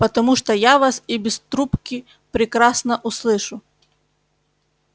потому что я вас и без трубки прекрасно услышу